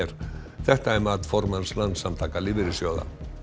þetta er mat formanns Landssamtaka lífeyrissjóða